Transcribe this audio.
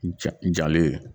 Ja jalen